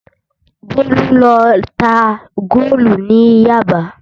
Bólú lọ ta góòlù ní Yaba